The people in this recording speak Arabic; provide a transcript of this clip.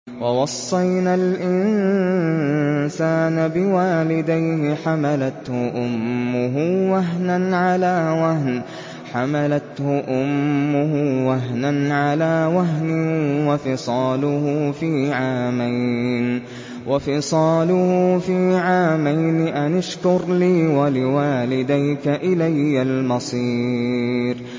وَوَصَّيْنَا الْإِنسَانَ بِوَالِدَيْهِ حَمَلَتْهُ أُمُّهُ وَهْنًا عَلَىٰ وَهْنٍ وَفِصَالُهُ فِي عَامَيْنِ أَنِ اشْكُرْ لِي وَلِوَالِدَيْكَ إِلَيَّ الْمَصِيرُ